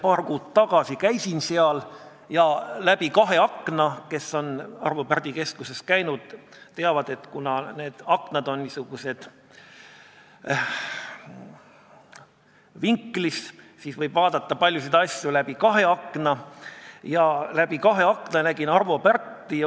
Paar kuud tagasi käisin seal ja läbi kahe akna – kes on Pärdi keskuses käinud, teavad, et kuna aknad on seal niisugused vinklis, siis võib vaadata paljusid asju läbi kahe akna – nägin Arvo Pärti.